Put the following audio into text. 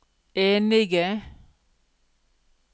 enige